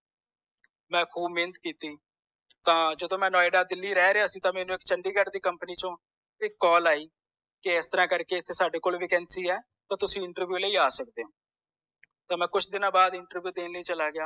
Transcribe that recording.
ਮੈਂ ਬਹੁਤ ਮੇਹਨਤ ਕੀਤੀ ਤਾਂ ਜਦੋ ਮੈਂ ਨੋਇਡਾ ਦਿਲੀ ਰਿਹ ਰਿਹਾ ਸੀ ਤੇ ਮੈਨੂੰ chandigarh ਦੀ ਇਕ company ਚੌ ਇਕ call ਆਈ ਕਿ ਇਸਤਰਾਂ ਕਰਕੇ ਇਕ ਸਾਡੇ ਕੋਲੇ vacancy ਆ ਤੋਂ ਤੁਸੀ interview ਲਈ ਆ ਸਕਦੇ ਓ ਤਾਂ ਮੈਂ ਕੁਛ ਦੀਨਾ ਵਾਸਤੇ interview ਦੇਣ ਚਲਾ ਗਿਆ